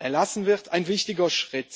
erlassen wird, ein wichtiger Schritt.